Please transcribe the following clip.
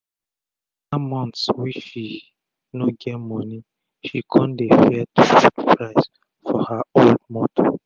after months wey she no get moni she kon dey fear to put price for her old motor